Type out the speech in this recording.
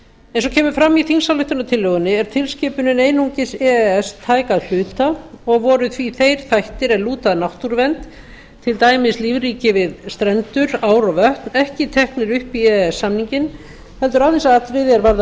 eins og kemur fram í þingsályktunartillögunni er tilskipunin einungis e e s tæk að hluta og voru því þeir þættir sem lúta að náttúruvernd til dæmis lífríki við strendur ár og vötn ekki teknir upp í e e s samninginn heldur aðeins atriði er varða